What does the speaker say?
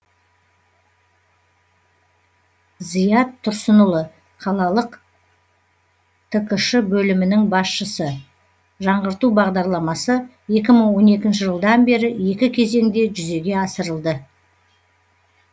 зият тұрсынұлы қалалық ткш бөлімінің басшысы жаңғырту бағдарламасы екі мың он екінші жылдан бері екі кезеңде жүзеге асырылды